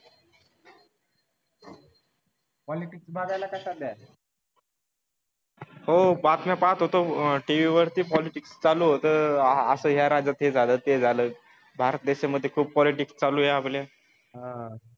Politics बगायला कसा चाललंय काय नाही बसलो होतो घरी थोडं फार बातम्या पाच पाहत होतो. झालं ना? पॉलिटिक्स मध्ये काय चालू आहे काही राजकारणी?